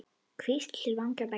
Hvísl til vanga beggja?